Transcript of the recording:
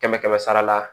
Kɛmɛ kɛmɛ sara la